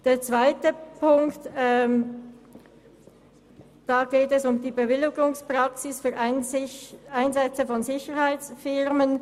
Beim zweiten Punkt geht es um die Bewilligungspraxis für Einsätze von Sicherheitsfirmen.